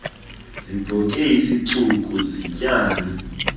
zibhoke isicuku yityani